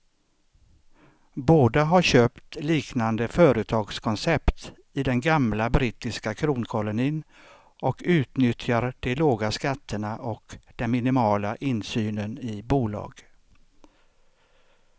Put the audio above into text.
Båda har köpt liknande företagskoncept i den gamla brittiska kronkolonin och utnyttjar de låga skatterna och den minimala insynen i bolag.